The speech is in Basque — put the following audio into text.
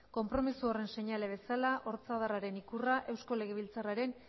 konpromiso horren seinale bezala ortzadarraren ikurra eusko legebiltzarraren